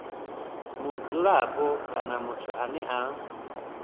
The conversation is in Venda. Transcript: mudzulapo kana muthu ane a